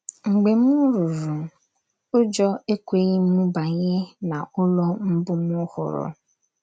Mgbe m ruru, ụjọ ekweghị m banye n’ụlọ mbụ m hụrụ.